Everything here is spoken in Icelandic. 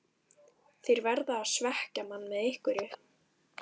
Þeir verða að svekkja mann með einhverju.